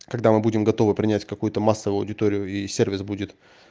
когда мы будем готовы принять какую-то массовую аудиторию и сервис будет